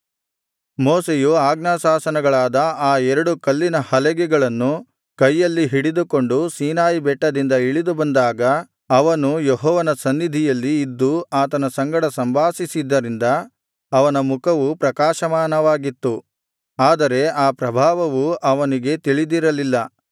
ಮೋಶೆಯು ಆಜ್ಞಾಶಾಸನಗಳಾದ ಆ ಎರಡು ಕಲ್ಲಿನ ಹಲಗೆಗಳನ್ನು ಕೈಯಲ್ಲಿ ಹಿಡಿದುಕೊಂಡು ಸೀನಾಯಿ ಬೆಟ್ಟದಿಂದ ಇಳಿದುಬಂದಾಗ ಅವನು ಯೆಹೋವನ ಸನ್ನಿಧಿಯಲ್ಲಿ ಇದ್ದು ಆತನ ಸಂಗಡ ಸಂಭಾಷಿಸಿದ್ದರಿಂದ ಅವನ ಮುಖವು ಪ್ರಕಾಶಮಾನವಾಗಿತ್ತು ಆದರೆ ಅ ಪ್ರಭಾವವು ಅವನಿಗೆ ತಿಳಿದಿರಲಿಲ್ಲ